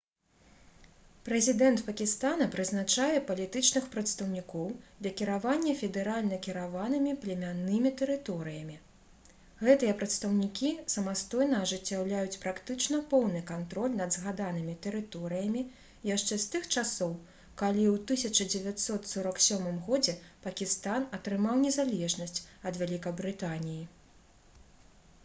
прэзідэнт пакістана прызначае «палітычных прадстаўнікоў» для кіравання федэральна кіраванымі племяннымі тэрыторыямі. гэтыя прадстаўнікі самастойна ажыццяўляюць практычна поўны кантроль над згаданымі тэрыторыямі яшчэ з тых часоў калі ў 1947 годзе пакістан атрымаў незалежнасць ад вялікабрытаніі